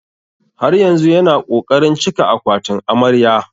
Har yanzu yana ƙoƙarin cika akwatin amarya.